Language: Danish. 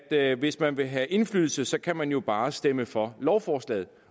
at hvis man vil have indflydelse så kan man jo bare stemme for lovforslaget